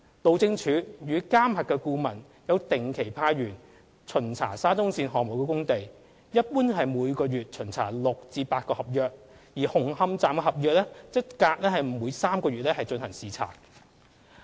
路政署與監核顧問有定期派員巡查沙中線項目工地，一般每月巡查6至8個合約，而紅磡站合約則每隔約3個月進行視察。